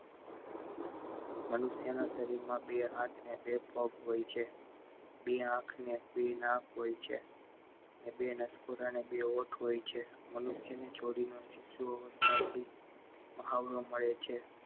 મનુષ્ય ના શરીર માં બે હાથ ને બે પગ હોય છે બે આંખ અને બે કાન હોય છે ને બે નસકોરા અને બે હોઠ હોય છે બે મનુષ્ય છોડી ને શિશુ અવસ્થા થી મહા મળે છે